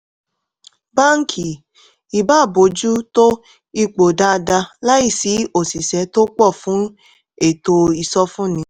báńkì ì bá bójú tó ipò dáadáa láìsí òṣìṣẹ́ tó pọ̀ fún ètò ìsọfúnni.